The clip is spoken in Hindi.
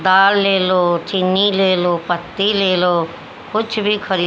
दाल ले लो चीनी ले लो पत्ती ले लो कुछ भी खरी--